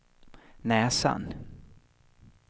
näsan